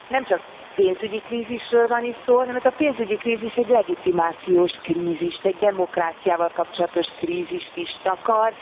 Nem csak pénzügyi krízisről van itt szó, hanem ez a pénzügyi krízis egy legitimációs krízist, egy demokráciával kapcsolatos krízist is takar.